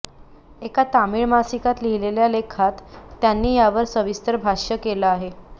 एका तामीळ मासिकात लिहिलेल्या लेखात त्यांनी यावर सविस्तर भाष्य केलं आहे